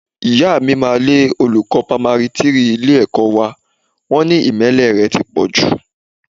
Ìyá mi máa lé olùkọ́ pamari three ilé-ẹ̀kọ́ wá, wọn ní ìmẹ́lẹ́ rẹ ti pọ̀ jù